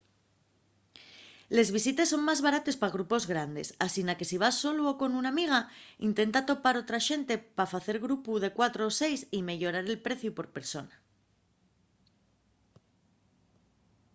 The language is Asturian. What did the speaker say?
les visites son más barates pa grupos grandes asina que si vas solu o con una amiga intenta topar otra xente pa facer grupu de cuatro o seis y meyorar el preciu por persona